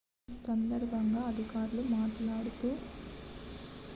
ఈ సందర్భంగా అధికారులు మాట్లాడుతూ